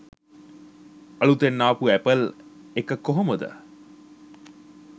අලුතෙන් ආපු ඇපල් එක කොහොමද